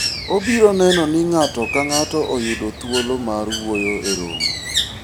obiro neno ni ng'ato ka ng'ato oyudo thuolo mar wuoyo e romo